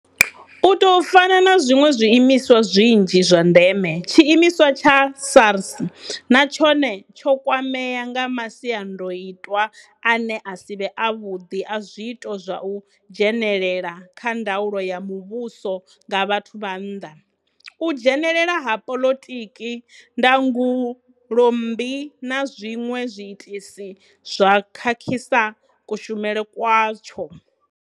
U tou fana na zwiṅwe zwiimiswa zwinzhi zwa ndeme, tshiimiswa tsha SARS na tshone tsho kwamea nga masiandaitwa ane a si vhe avhuḓi a zwiito zwa u dzhenelela kha ndaulo ya muvhuso nga vhathu vha nnḓa, u dzhenelela ha polotiki, ndangulo mmbi na zwiṅwe zwiitisi zwe zwa khakhisa kushumele kwatsho.